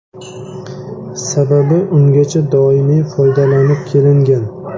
Sababi ungacha doimiy foydalanib kelingan.